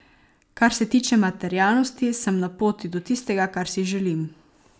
Kar se tiče materialnosti, sem na poti do tistega, kar si želim.